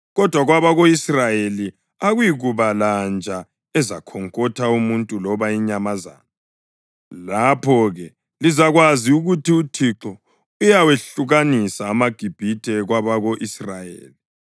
Kodwa kwabako-Israyeli akuyikuba lanja ezakhonkotha umuntu loba inyamazana.’ Lapho-ke lizakwazi ukuthi uThixo uyawehlukanisa amaGibhithe kwabako-Israyeli.